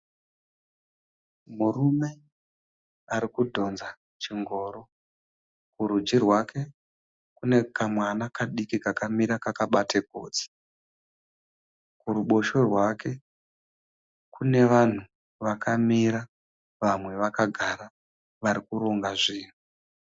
Murume arikudhonza chingoro. Kurudyi rwake kune kamwana kadiki kakamira kakabata gotsi. Kurubotshwe rwake kune vanhu vakamira vamwe vakagara varikuronga zvinhu.